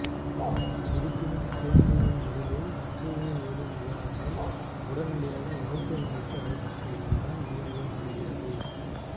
இருப்பினும் குழந்தையின் உடலில் அசைவுகள் ஏதும் இல்லாததால் உடனடியாக மருத்துவமனைக்கு அழைத்து செல்வதுடன் வீடியோ முடிகிறது